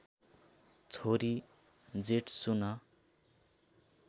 छोरी जेट्सुन